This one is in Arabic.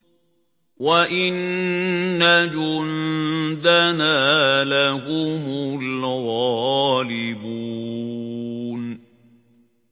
وَإِنَّ جُندَنَا لَهُمُ الْغَالِبُونَ